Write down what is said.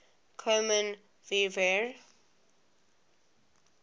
kommen wir wer